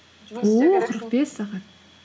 қырық бес сағат